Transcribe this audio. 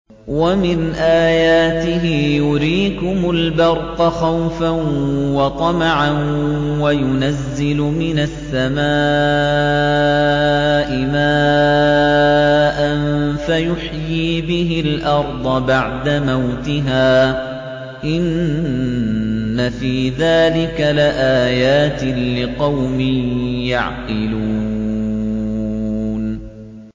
وَمِنْ آيَاتِهِ يُرِيكُمُ الْبَرْقَ خَوْفًا وَطَمَعًا وَيُنَزِّلُ مِنَ السَّمَاءِ مَاءً فَيُحْيِي بِهِ الْأَرْضَ بَعْدَ مَوْتِهَا ۚ إِنَّ فِي ذَٰلِكَ لَآيَاتٍ لِّقَوْمٍ يَعْقِلُونَ